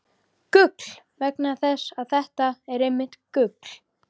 . gull- vegna þess að þetta er einmitt gull!